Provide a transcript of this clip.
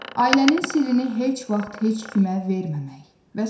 Ailənin sirrini heç vaxt heç kimə verməmək və sair.